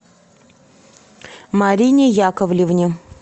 марине яковлевне